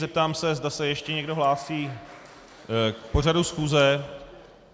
Zeptám se, zda se ještě někdo hlásí k pořadu schůze.